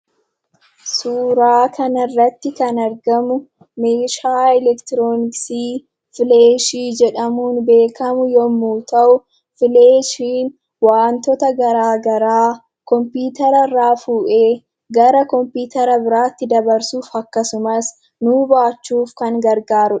Suuraa kanarratti kan argamu meeshaa elektirooniksii filaashii jedhamuun beekamu yommuu ta'u, filaashiin wantoota garaagaraa kompiitara irraa fuudhee gara kompiitara biraatti dabarsuuf akkasumas nuuf baachuuf kan gargaarudha.